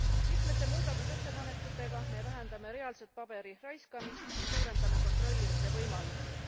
Mitme muudatusettepanekuga me vähendame reaalset paberiraiskamist ja suurendame kontrollimise võimalusi.